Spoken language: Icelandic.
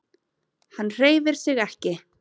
Hann hreyfir sig ekki.